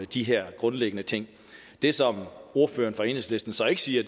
de her grundlæggende ting det som ordføreren fra enhedslisten så ikke siger